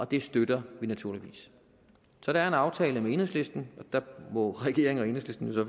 det støtter vi naturligvis så der er en aftale med enhedslisten og der må regeringen og enhedslisten så